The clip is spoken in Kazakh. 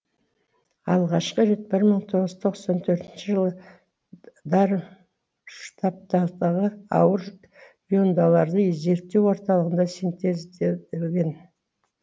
алғашқы рет мың тоғыз жүз тоқсан төртінші жылы дармштадттағы ауыр иондларды зерттеу орталығында синтезделген